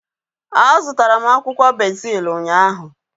A zụtara m akwụkwọ bezil ụnyaahụ